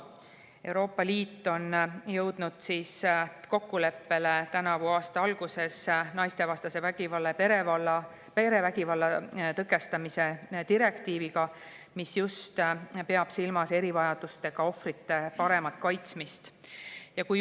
Euroopa Liit jõudis tänavu aasta alguses kokkuleppele naistevastase vägivalla ja perevägivalla tõkestamise direktiivis, mis just peab silmas erivajadustega ohvrite paremat kaitsmist.